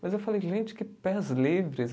Mas eu falei, gente, que pés livres.